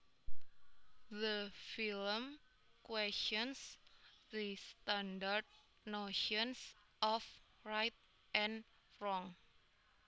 The film questions the standard notions of right and wrong